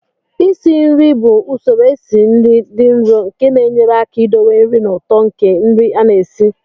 Isi nri bụ usoro esi nri dị nro nke na-enyere aka idowe nri na ụtọ nke nri a na-esi